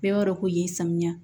Bɛɛ b'a dɔn ko ye samiya